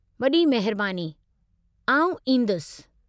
वॾी महिरबानी, आउं ईंदुसि।